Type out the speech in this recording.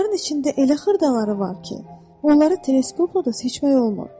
Bunların içində elə xırdaları var ki, onları teleskopla da seçmək olmur.